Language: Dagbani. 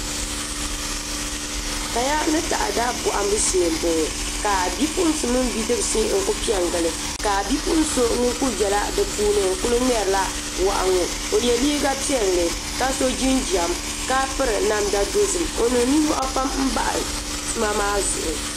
Kaya ni taada bohambu shee n boŋo ka bipuɣunsi mini bidibsi n ku piɛ n gili ka bipuɣun so ŋun kuli biɛla di puuni n ku ŋmɛrila wahi ŋo o yɛ liiga piɛlli ka so jinjɛm ka piri namdi piɛlli o niŋ nimmohi pam bahi tuma maa zuɣu